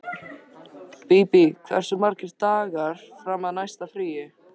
Bíbí, hversu margir dagar fram að næsta fríi?